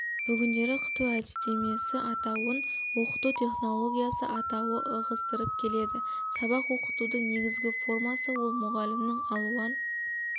бүгіндері қыту әдістемесі атауын оқыту технологиясы атауы ығыстырып келеді сабақ оқытудың негізгі формасы ол мұғалімнің алуан